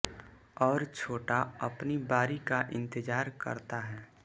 और छोटा अपनी बारी का इंतजार करता है